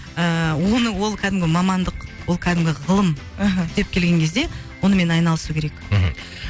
ііі оны ол кәдімгі мамандық ол кәдімгі ғылым мхм түптеп келген кезде онымен айналысу керек мхм